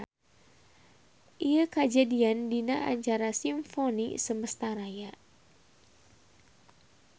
Ieu kajadian dina acara Simfoni Semesta Raya.